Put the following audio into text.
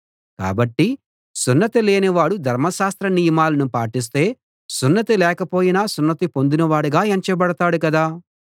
కాబట్టి సున్నతి లేనివాడు ధర్మశాస్త్ర నియమాలను పాటిస్తే సున్నతి లేకపోయినా సున్నతి పొందినవాడుగా ఎంచబడతాడు గదా